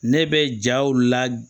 Ne bɛ jaw la